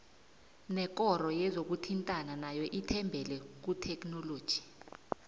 nekoro yezokuthintana nayo ithembele kuthekhinoloji